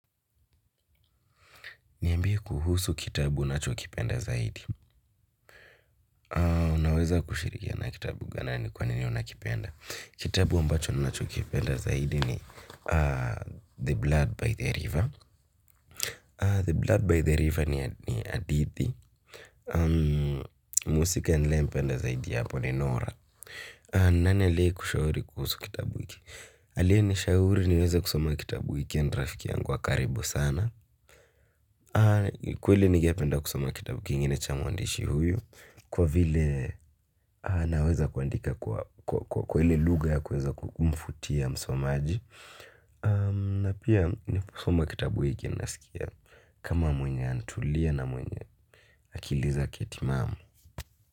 Niambie kuhusu kitabu unachokipenda zaidi. Unaweza kushirikiana kitabu na nani kwanini unakipenda. Kitabu ambacho ninachokipenda zaidi ni The Blood by the River. The Blood by the River ni hadithi. Muhusika ninae mpenda zaidi apo ni norah. Nani alie kushauri kuhusu kitabu hiki. Alie nishauri niweze kusoma kitabu hiki and rafiki yangu wa karibu sana. Kweli nigependa kusoma kitabu kingine cha muandishi huyu. Kwa vile naweza kuandika kwa ile lugha ya kuweza kumvutia msomaji. Na pia ninapo soma kitabu hiki na sikia kama mwenye ana tulia na mwenye akili zake timamu.